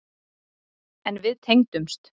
En við tengdumst.